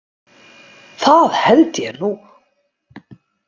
Það held ég nú.